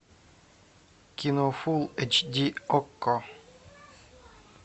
кино фул эйч ди окко